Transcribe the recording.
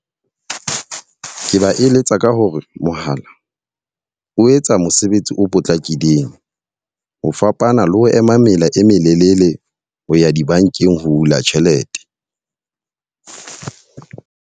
Ke ba eletsa ka hore mohala o etsa mosebetsi o potlakileng. Ho fapana le ho ema mela e melelele ho ya dibankeng ho hula tjhelete.